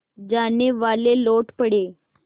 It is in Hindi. जानेवाले लौट पड़े